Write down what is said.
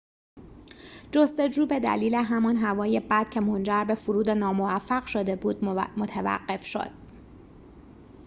جستجو به دلیل همان هوای بد که منجر به فرود ناموفق شده بود متوقف شد